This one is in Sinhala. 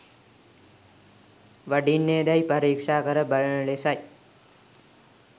වඩින්නේදැයි පරීක්‍ෂා කර බලන ලෙසයි.